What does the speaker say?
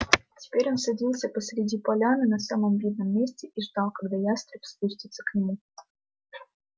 теперь он садился посреди поляны на самом видном месте и ждал когда ястреб спустится к нему